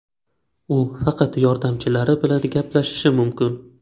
U faqat yordamchilari bilan gaplashishi mumkin.